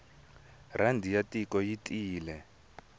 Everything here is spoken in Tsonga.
rhandi ya tiko yi tiyile